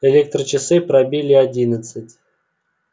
электрочасы пробили одиннадцать